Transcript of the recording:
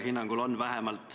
Seadus on vastu võetud.